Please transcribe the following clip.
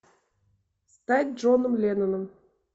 стать джоном ленноном